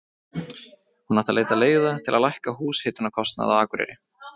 Hún átti að leita leiða til að lækka húshitunarkostnað á Akureyri.